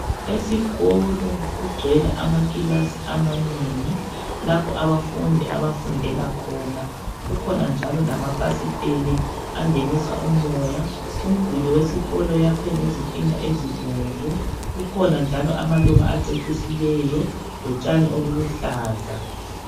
Esikolo kugcwele amakilasi ananengi. Lapho abafundi abafundela khona. Kukhona njalo lamafasitele, angenisa umoya. Umduli wesikolo, uyakhwe ngezitina ezibomvu. Kukhona njalo amaluba acecisileyo. Lotshani obuluhlaza.